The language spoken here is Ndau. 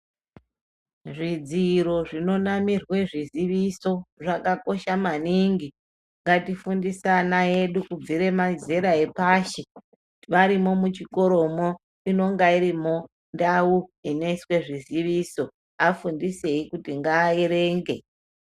Zvidziro zvinonamirwe zviziviso zvakakosha maningi ngatifundise ana edu kubvire mazera epashi varimo muchikoromo inonga irimo ndau inoiswa zviziviso afundisei kuti ngaaerenge.